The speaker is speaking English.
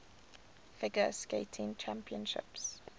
figure skating championships